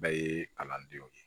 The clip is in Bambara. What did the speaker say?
Bɛɛ ye kalandenw ye